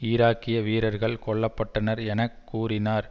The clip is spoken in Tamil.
ஈராக்கிய வீரர்கள் கொல்ல பட்டனர் என கூறினார்